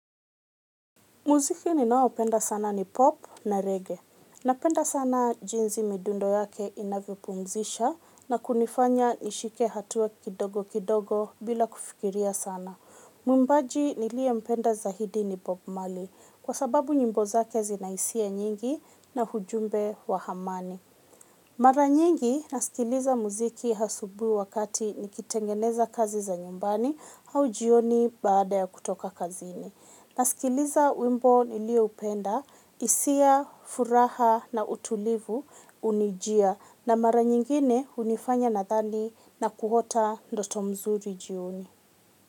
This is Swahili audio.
Muziki ninao penda sana ni pop na reggae. Napenda sana jinzi midundo yake inavyo pumzisha na kunifanya nishike hatua kidogo kidogo bila kufikiria sana. Mwimbaji niliye mpenda zahidi ni bob marley kwa sababu nyimbo zake zinaisia nyingi na hujumbe wa hamani. Mara nyingi nasikiliza muziki hasubui wakati nikitengeneza kazi za nyumbani au jioni baada ya kutoka kazini. Nasikiliza wimbo nilio upenda, isia, furaha na utulivu unijia na mara nyingine unifanya nathani na kuhota ndoto mzuri jioni.